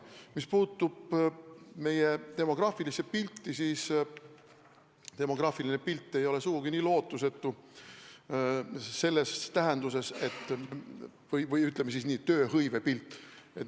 Mis puutub meie demograafilisse pilti, siis demograafiline pilt ei ole tööhõive seisukohalt sugugi nii lootusetu.